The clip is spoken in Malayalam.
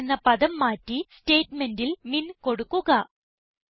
മാക്സ് എന്ന പദം മാറ്റി സ്റ്റേറ്റ്മെന്റിൽ മിൻ കൊടുക്കുക